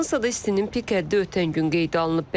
Fransada istinin pik həddi ötən gün qeydə alınıb.